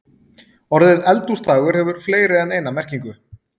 Orðið eldhúsdagur hefur fleiri en eina merkingu.